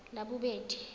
labobedi